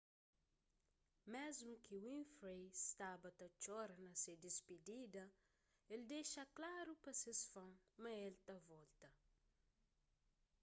mésmu ki winfrey staba ta txora na se dispidida el dexa klaru pa se fans ma el ta volta